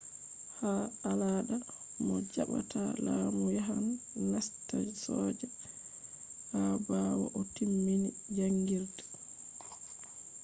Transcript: ha alada mo jaɓɓata lamu yahan nasta soja ha ɓawo o timmin jaangirde